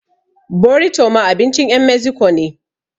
Borito ma abincin ƴan meziko ne